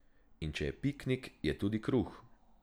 In če je piknik, je tudi kruh.